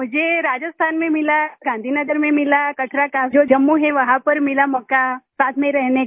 मुझे राजस्थान में मिला गाँधी नगर में मिला कचरा कांझोर जम्मू है वहां पर मिला मौका साथ में रहने का